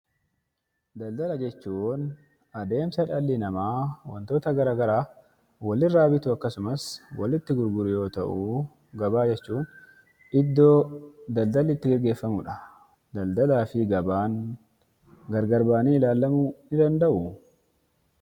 Daldala jechuuun adeemsa dhalli namaa wantoota garaa garaa Wal irraa bituudhaaf akkasumas walitti gurguruudhaaf ooluudha. Gabaa jechuun immoo bakka daldalli itti gaggeeffamuu dha. Daldalaa fi gabaan gargar ba'anii ilaalamuu ni danda'uu?